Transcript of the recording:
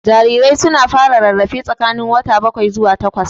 Jarirai su na fara rarrafe tsakanin wata bakwai zuwa takwas